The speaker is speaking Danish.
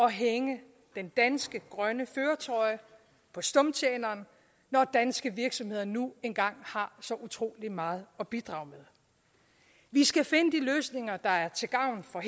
at hænge den danske grønne førertrøje på stumtjeneren når danske virksomheder nu engang har så utrolig meget at bidrage med vi skal finde de løsninger der er til gavn for